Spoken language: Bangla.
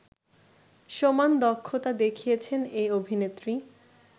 সমান দক্ষতা দেখিয়েছেন এই অভিনেত্রী